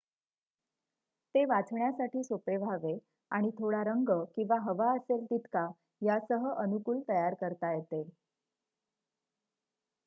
ते वाचण्यासाठी सोपे व्हावे आणि थोडा रंग किंवा हवा असेल तितका यासह अनुकूल तयार करता येते